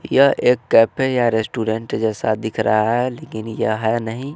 यह एक कैफे या रेस्टोरेंट जैसा दिख रहा है लेकिन यह है नहीं।